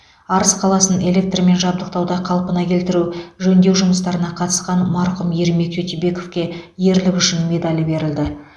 арыс қаласын электрмен жабдықтауда қалпына келтіру жөндеу жұмыстарына қатысқан марқұм ермек тютюбековке ерлік үшін медалі берілді